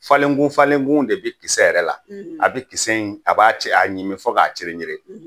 Falengun falengun de bɛ kisɛ yɛrɛ la, , a bɛ kisɛ in a b'a cɛya ɲimi fɔ k'a ceren ceren.